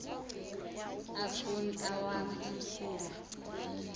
afun awam umsila